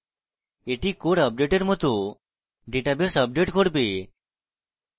এটি core আপডেটের মত ডাটাবেস আপডেট করবে